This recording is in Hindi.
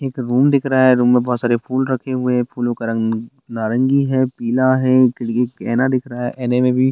एक रूम दिख रहा है रूम में बहोत सारे फूल रखे हुए हैं फूलों का रंग नारंगी है पीला है एक एक ऐना दिख रहा है ऐने में भी --